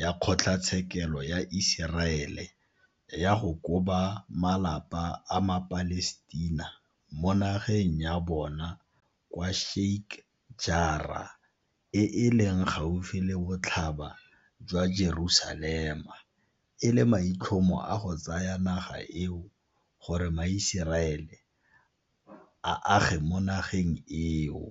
ya kgotlatshekelo ya Iseraele ya go koba malapa a maPalestina mo nageng ya bona kwa Sheikh Jarrah e e leng gaufi le Botlhaba jwa Jerusalema e le maitlhomo a go tsaya naga eo gore maIseraele a age mo nageng eo.